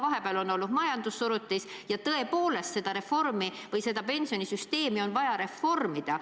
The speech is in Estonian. Vahepeal on olnud majandussurutis ja tõepoolest pensionisüsteemi on vaja reformida.